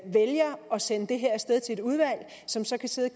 sende det her af sted til et udvalg som så kan sidde